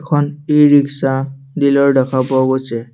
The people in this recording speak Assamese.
এখন ই ৰিক্সা ডিলাৰ দেখা পোৱা গৈছে।